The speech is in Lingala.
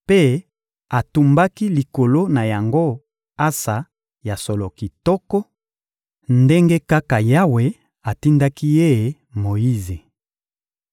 mpe atumbaki likolo na yango ansa ya solo kitoko, ndenge kaka Yawe atindaki ye Moyize.